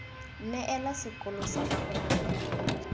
neela sekolo lsa gago nako